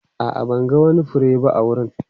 A'a, ban ga wani fure ba a wurin.